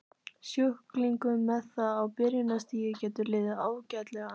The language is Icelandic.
Sjúklingum með það á byrjunarstigi getur liðið ágætlega.